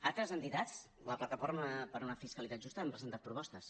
altres entitats la plataforma per una fiscalitat justa han presentat propostes